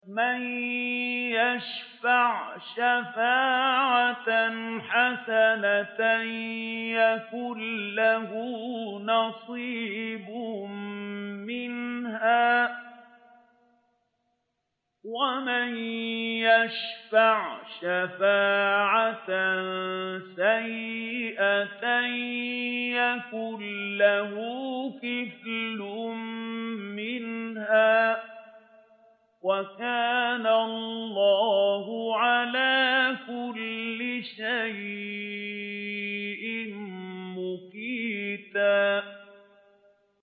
مَّن يَشْفَعْ شَفَاعَةً حَسَنَةً يَكُن لَّهُ نَصِيبٌ مِّنْهَا ۖ وَمَن يَشْفَعْ شَفَاعَةً سَيِّئَةً يَكُن لَّهُ كِفْلٌ مِّنْهَا ۗ وَكَانَ اللَّهُ عَلَىٰ كُلِّ شَيْءٍ مُّقِيتًا